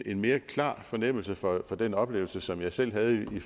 en mere klar fornemmelse for den oplevelse som jeg selv havde i